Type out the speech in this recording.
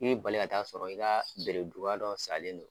I bɛ bali ka t'a sɔrɔ i ka bereduga dɔ salen don